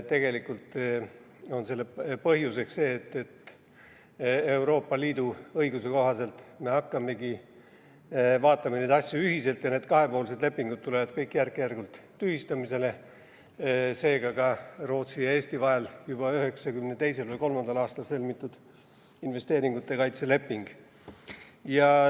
Tegelikult on selle põhjus see, et Euroopa Liidu õiguse kohaselt me hakkamegi vaatama neid asju ühiselt ja kõik kahepoolsed lepingud tulevad järk-järgult tühistamisele, seega ka Rootsi ja Eesti vahel juba 1992. aastal sõlmitud investeeringute kaitse leping.